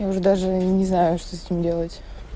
я уже даже не знаю что с ним делать